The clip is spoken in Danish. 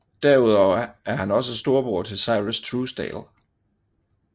Derudover er han også storebror til Syrus Truesdale